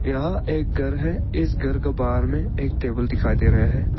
यहां एक घर है इस घर के बाहर में एक टेबल दिखाई दे रहा है।